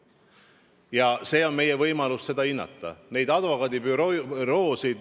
Ja see on meie võimalus hinnata neid advokaadibüroosid.